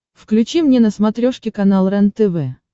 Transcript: включи мне на смотрешке канал рентв